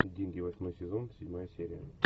деньги восьмой сезон седьмая серия